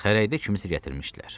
Xərəkdə kimisə gətirmişdilər.